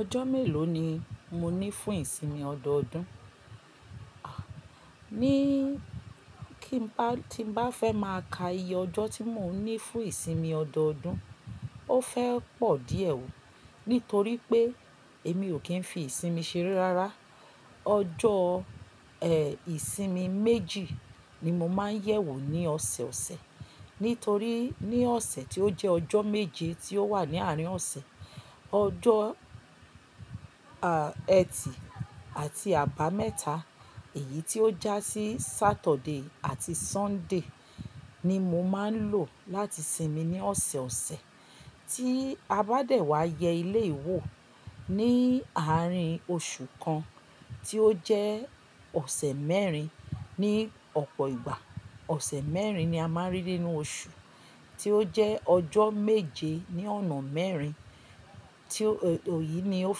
Ọjọ́ mélòó ni mo ní fún ìsinmi ọdọọdún? Ní kí n bá, tí n bá fẹ́ máa ka iye ọjọ́ tí mò ń ní fún ìsinmi ọdọọdún, ó fẹ́ pọ̀ díẹ̀ o. Nítorí pé èmi ò kí n fi ìsinmi ṣeré rárá. Ọjọ́, ìsinmi méjì ni mo máa ń yẹ̀wò ní ọ̀sẹ̀ ọ̀sẹ̀. Nítorí ní ọ̀sẹ̀ tí ó jẹ́ ọjọ́ méje tí ó wà ní àárín ọ̀sẹ̀, ọjọ́, ẹtì àti àbámẹ́ta, èyí tí ó já sí Saturday àti Sunday ni mo máa ń lò láti sinmi ní ọ̀sẹ̀ ọ̀sẹ̀. Tí a bá dẹ̀ wá yẹ eleyi wo, ní àárín oṣù kan, tí ó jẹ́ ọ̀sẹ̀ mẹ́rin ní ọ̀pọ̀ ìgbà. Ọ̀sẹ̀ mẹ́rin ni a máa ń rí nínú oṣù, tí ó jẹ́ ọjọ́ méje ní ọ̀nà mẹ́rin, tí o-- èyí ni ó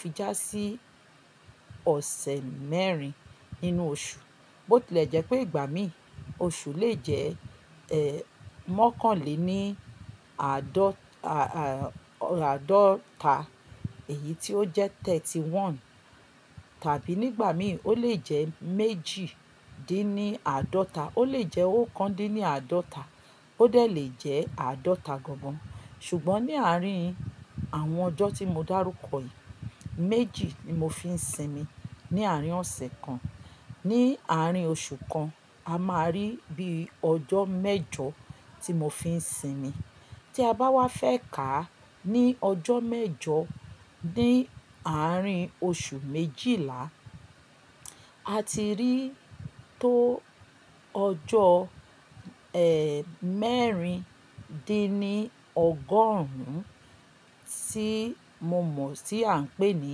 fi já sí ọ̀sẹ̀ mẹ́rin nínú oṣù. Bótilẹ̀ jẹ́ pé ìgbà mìí oṣù lè jẹ́, ẹ́, mọ́kànlé ni àádọ́ta, èyí tí ó jẹ́ thirty one. Tàbí nígbà míì ó lè jẹ́ méjìdínníàádọ́ta, ó lè jẹ́ ókándínníàádọ́ta, ó lè jẹ́ àádọ́ta gan gan. Ṣùgbọ́n ní àárín àwọn ọjọ́ tí mo dá rúkọ yìí, méjì ni mo fi ń sinmi ní àárín ọ̀sẹ̀ kan. Ní àárín oṣù kan, a máa rí bí i ọjọ́ mẹ́jọ tí mo fi ń sinmi. Tí a bá wá fẹ́ ká ní ọjọ́ mẹ́jọ ní àárín oṣù méjìlá, a ti rí tó ọjọ́, mẹ́rindínní ọgọ́rùn ún tí mo mọ̀ tí à ń pè ní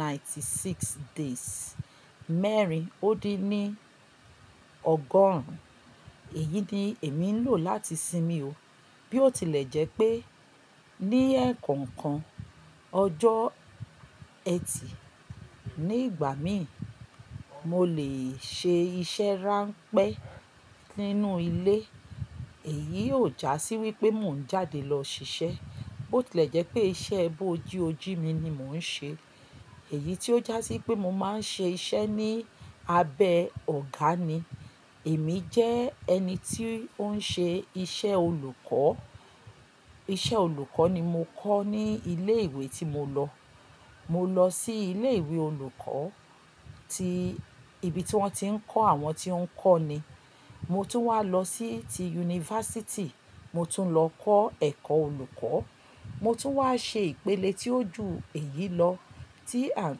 ninety six days. Mẹ́rin ó dín ní ọgọ́rùn ún, èyí ni èmi ń lò láti sinmi o. Bí ó tilẹ̀ jẹ́ pé ní ẹ̀ẹ̀kọ̀kan ọjọ́ ẹtì nígbà míì mo lè ṣe iṣẹ́ ránpẹ́ nínú ilé. Èyí ò já sí wípé mò ń jáde lọ ṣiṣẹ́. Bó tilẹ̀ jẹ́ pé iṣẹ́ bio jí oji mi ni mò ń ṣe. Èyí tí ó já sí pé mo máa ń ṣe iṣẹ́ ní abẹ́ ọ̀gá ni. Èmi jẹ́ ẹni tí ó ń ṣe iṣẹ́ olùkọ́. Iṣẹ́ olùkọ́ ni mo kọ́ ní ilé ìwé tí mo lọ. Mo lọ sí ilé ìwé olùkọ́ tí ibi tí wọ́n ti ń kọ́ àwọn tí ó ń kọ́ ni. Mo tún wá lọ sí ti yunifásítì, mo tún lọ kọ́ ẹ̀kọ́ olùkọ́, mo tún wá ṣe ìpele tí ó ju èyí lọ tí à ń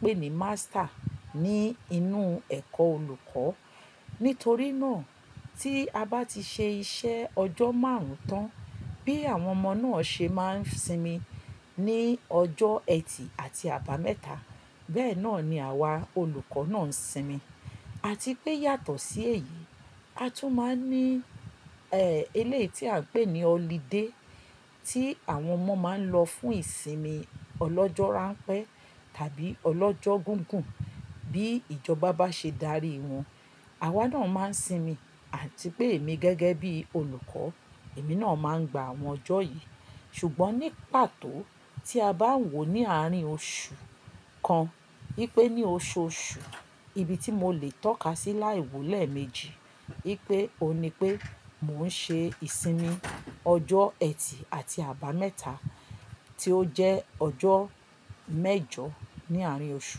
pè ní master ní inú ẹ̀kọ́ olùkọ́. Nítorí náà tí a bá ti ṣe iṣẹ́ ọjọ́ márùn-ún tán, bí àwọn ọmọ náà ṣe máa ń sinmi ní ọjọ́ ẹtì àti àbámẹ́ta, bẹ́ẹ̀ náà ni àwa olùkọ́ náà ń sinmi. Àti pé yàtọ̀ sí èyí, a tún máa ń ní, ẹ́, eléyìí tí à ń pè ní holiday tí àwọn ọmọ máa ń lọ fún ìsinmi ọlọ́jọ́ ránpẹ́ tàbí ọlọ́jọ́ gígùn bí ìjọba bá ṣe darí wọn. Awá náà máa ń sinmi àti pé èmi gẹ́gẹ́ bí olùkọ́, èmi náà máa ń gba àwọn ọjọ́ yìí. Ṣùgbọ́n ní pàtó tí a bá ń wò ó ní àárín oṣù kan, wipé ní oṣooṣù, ibi tí mo lè tọ́ka sí láì wó lẹ̀méjì, pé òun ni pé mò ń ṣe ìsinmi ọjọ́ ẹtì àti àbámẹ́ta tí ó jẹ́ ọjọ́ mẹ́jọ ní àárín oṣù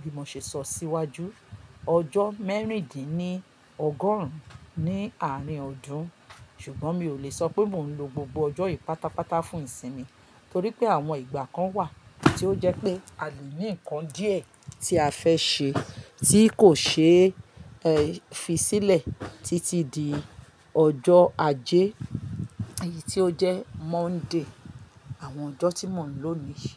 bí mo ṣe sọ síwájú. Ọjọ́ mẹ́rindínní ọgọ́rùn ún ní àárín ọdún. Ṣùgbọ́n mi ò lè sọ pé mò ń lo gbogbo ọjọ́ yìí pátápátá fún ìsinmi. Torí pé àwọn ìgbà kan wà tí ó jẹ́ pé a lè ní nǹkan díẹ̀ tí a fẹ́ ṣe tí kò ṣe é fisílẹ̀ títí di ọjọ́ ajé, èyí tí ó jẹ́ Monday, àwọn ọjọ́ tí mò ń lò ni yi.